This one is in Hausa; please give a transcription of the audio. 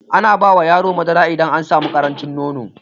Ana bawa yaro madara idan an sami ƙarancin nono